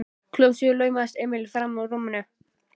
Klukkan sjö laumaðist Emil frammúr rúminu.